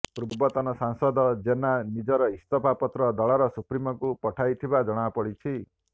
ପୂର୍ବତନ ସାଂସଦ ଜେନା ନିଜର ଇସ୍ତଫା ପତ୍ର ଦଳର ସୁପ୍ରିମୋଙ୍କୁ ପଠାଇ ଥିବା ଜଣାପଡ଼ିଛି